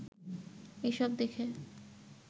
এসব দেখে